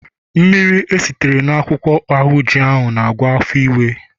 mmiri esitere na akwukwo ahunji -agwọ afo iwe